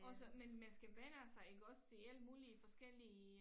Og så men man skal vænne sig iggås til alle mulige forskellige